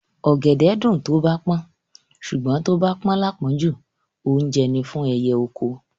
Ọ̀gẹ̀dẹ̀ ẹ́ dùn tó bá pọ́n, ṣùgbọ́n tó bá pọ́n láàpọ́njù, oúnjẹ ni fún ẹyẹ oko.